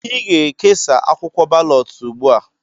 Ị ga-ekesa akwụkwọ balọt ugbu a!